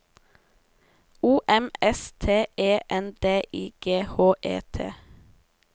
O M S T E N D I G H E T